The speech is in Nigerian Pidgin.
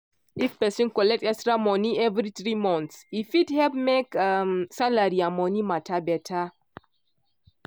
if person collect extra money every three months e fit help make um salary and money matter better.